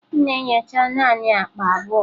M na-enyocha naanị akpa abụọ.